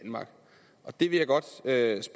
er en til